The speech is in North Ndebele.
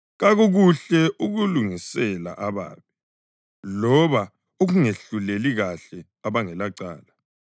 Kakukuhle ukulungisela ababi loba ukungehluleli kuhle abangelacala.